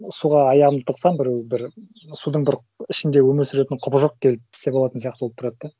суға аяғымды тықсам біреу бір судың бір ішінде өмір сүретін құбыжық келіп тістеп алатын сияқты болып тұрады да